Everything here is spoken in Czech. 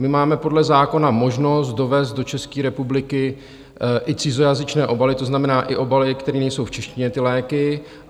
My máme podle zákona možnost dovézt do České republiky i cizojazyčné obaly, to znamená i obaly, které nejsou v češtině, ty léky.